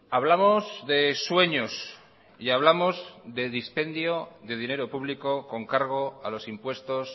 hablamos de sueños y hablamos de dispendio de dinero público con cargo a los impuestos